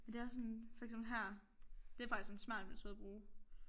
Men det også sådan for eksempel her det faktisk en smart metode at bruge